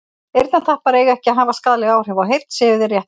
eyrnatappar eiga ekki að hafa skaðleg áhrif á heyrn séu þeir rétt notaðir